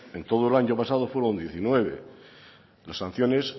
en todo el año pasado fueron diecinueve las sanciones